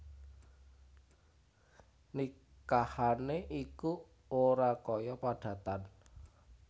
Nikahané iku ora kaya padatan